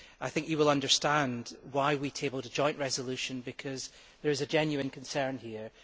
I think you will understand why we tabled a joint resolution, because there is a genuine concern here.